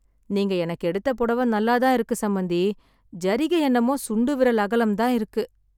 நீங்க எனக்கு எடுத்த பொடவ நல்லா தான் இருக்கு சம்பந்தி, ஜரிகை என்னமோ சுண்டு விரல் அகலம் தான் இருக்கு.